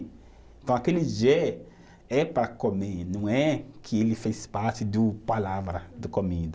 Então, aquele jé é para comer, não é que ele fez parte do, palavra de comida.